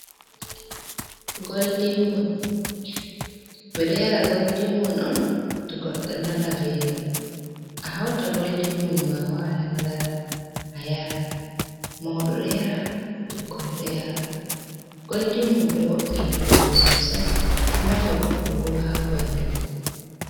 Be do yara goldimmum on to goddo nana velo, a hauta goldinmum ma a wata madara a yara mau do do yara ,bikkon do yara, goldimmum do wo’’ina bandu sosai do nafa goddo bo ha bandu